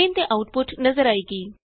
screen ਤੇ output ਨਜ਼ਰ ਆਏਗੀ